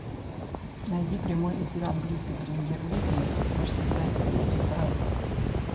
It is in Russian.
найди прямой эфир английской премьер лиги мерсисайдцы против брайтона